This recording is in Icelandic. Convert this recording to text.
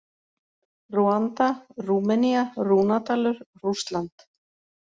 Rúanda, Rúmenía, Rúnadalur, Rússland